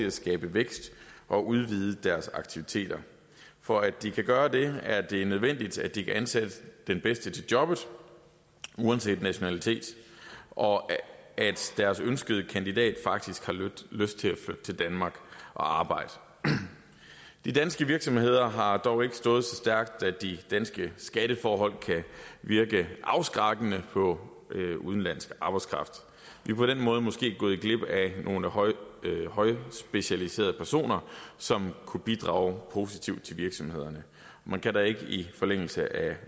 at skabe vækst og udvide deres aktiviteter for at de kan gøre det er det nødvendigt at de kan ansætte den bedste til jobbet uanset nationalitet og at deres ønskede kandidat faktisk har lyst til at flytte til danmark og arbejde de danske virksomheder har dog ikke stået så stærkt at de danske skatteforhold kan virke afskrækkende på udenlandsk arbejdskraft vi er på den måde måske gået glip af nogle højtspecialiserede personer som kunne bidrage positivt til virksomhederne man kan da i forlængelse